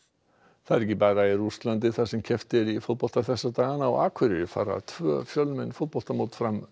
það er ekki bara í Rússlandi þar sem keppt er í fótbolta þessa dagana á Akureyri fara tvö fjölmenn fótboltamót fram